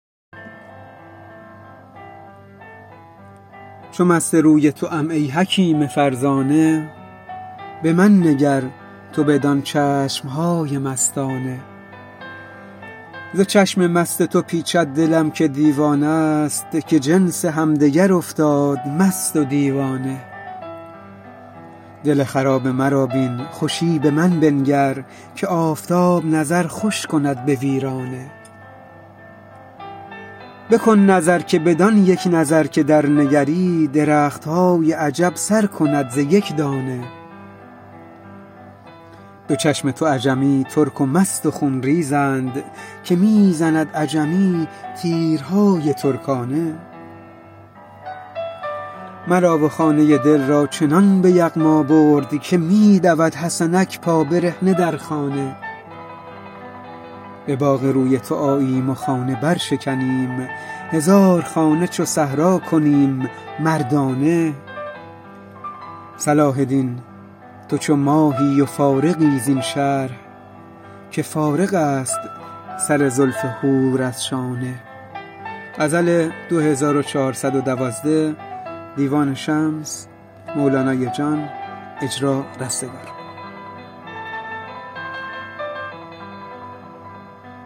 چو مست روی توام ای حکیم فرزانه به من نگر تو بدان چشم های مستانه ز چشم مست تو پیچد دلم که دیوانه است که جنس همدگر افتاد مست و دیوانه دل خراب مرا بین خوشی به من بنگر که آفتاب نظر خوش کند به ویرانه بکن نظر که بدان یک نظر که درنگری درخت های عجب سر کند ز یک دانه دو چشم تو عجمی ترک و مست و خون ریزند که می زند عجمی تیرهای ترکانه مرا و خانه دل را چنان به یغما برد که می دود حسنک پابرهنه در خانه به باغ روی تو آییم و خانه برشکنیم هزار خانه چو صحرا کنیم مردانه صلاح دین تو چو ماهی و فارغی زین شرح که فارغ است سر زلف حور از شانه